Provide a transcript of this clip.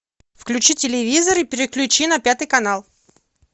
включи телевизор и переключи на пятый канал